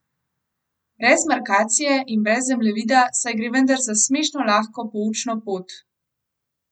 Brez markacije in brez zemljevida, saj gre vendar za smešno lahko poučno pot!